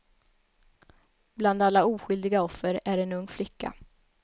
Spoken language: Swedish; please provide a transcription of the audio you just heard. Bland alla oskyldiga offer är en ung flicka.